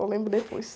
Ou lembro depois.